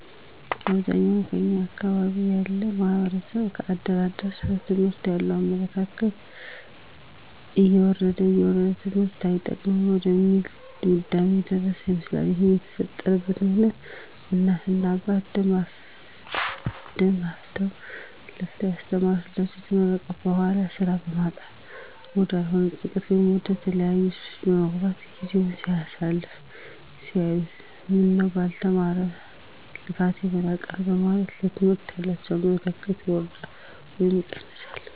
አብዛኛውን የኛ አካባቢ ያለው ማህበረሰብ ከአደር አደር ስለ ትምህርት ያለው አመለካከት እየወረደ እየወረደ ትምህርት አይጠቅምም ወደሚል ድምዳሜ የደረሰ ይመስላል ይህም የተፈጠረበት ምክኒያት እናት እና አባት ደም ተፍተው ለፍተው ያስተማሩት ልጃቸው ከተመረቀ በኋላ ስራ በማጣት ወዳልሆነ ጭንቀት ወይም ወደተለያዩ ሱሶች በመግባት ጊዜውን ሲያሳልፍ ሲያዩት ምነው ባልተማረ ልፋቴ መና ቀረ በማለት ለትምህርት ያላቸው አመለካከት ይወርዳል ወይም ይቀየራል